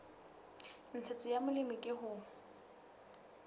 ntshetsopele ya molemi ke ho